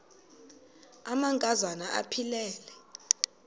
amanka zana aphilele